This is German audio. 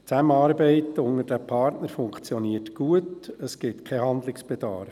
Die Zusammenarbeit zwischen den Partnern funktioniert gut, es gibt keinen Handlungsbedarf.